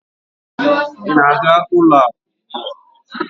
Ị na-aga ụlọ akụ ugbu a?